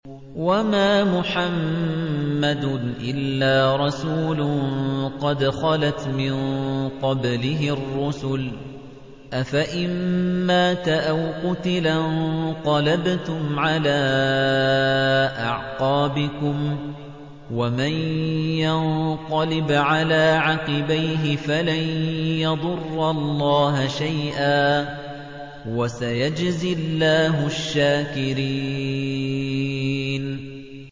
وَمَا مُحَمَّدٌ إِلَّا رَسُولٌ قَدْ خَلَتْ مِن قَبْلِهِ الرُّسُلُ ۚ أَفَإِن مَّاتَ أَوْ قُتِلَ انقَلَبْتُمْ عَلَىٰ أَعْقَابِكُمْ ۚ وَمَن يَنقَلِبْ عَلَىٰ عَقِبَيْهِ فَلَن يَضُرَّ اللَّهَ شَيْئًا ۗ وَسَيَجْزِي اللَّهُ الشَّاكِرِينَ